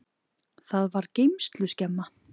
Það var geymsluskemma.